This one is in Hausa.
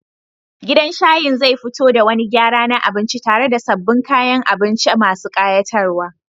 Gidan shayin zai fito da wani gyara na abinci tare da sabbin kayan abinci masu ƙayatarwa.